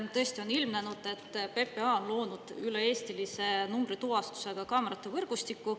Tõesti, on ilmnenud, et PPA on loonud üle-eestilise numbrituvastusega kaamerate võrgustiku.